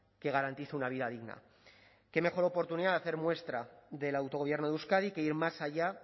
que garantice una vida digna qué mejor oportunidad de hacer muestra del autogobierno de euskadi que ir más allá